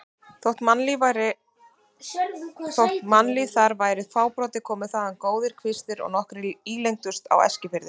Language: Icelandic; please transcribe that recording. Þótt mannlíf þar væri fábrotið komu þaðan góðir kvistir og nokkrir ílengdust á Eskifirði.